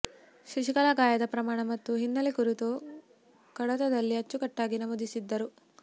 ಶಶಿಕಲಾ ಗಾಯದ ಪ್ರಮಾಣ ಮತ್ತು ಹಿನ್ನೆಲೆ ಕುರಿತು ಕಡತದಲ್ಲಿ ಅಚ್ಚುಕಟ್ಟಾಗಿ ನಮೂದಿಸಿದ್ದರು